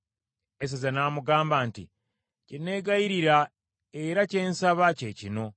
Eseza n’amugamba nti, “Kye negayirira era kye nsaba kye kino.